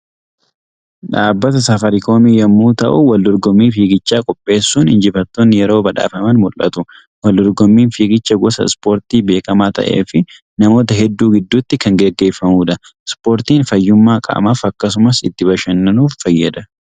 Dhaabbata Safaariikoom yommuu ta'u waldorgommii fiigichaa qopheessuun injifattoonni yeroo badhaafaman mul'atu. Waldorgommiin fiigichaa gosa Ispoortii beekamaa ta'ee fi namoota hedduu gidduutti kan gaggeeffamudha. Ispoortiin fayyummaa qaamaaf akkasumas itti bashannanuuf fayyada.